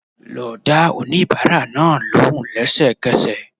Lọ dá oníbàárà náà lóhùn lẹ́sẹ̀kẹsẹ̀